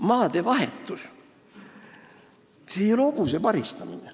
Maadevahetus ei ole mingi hobuse paristamine.